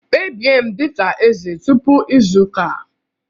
Kpebie m dị ka eze tupu izu ụka!